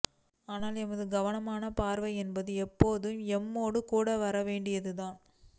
ஆனால் எமது கவனமான பார்வையென்பது எப்போதுமே எம்மோடு கூட வரவேண்டியதுதான்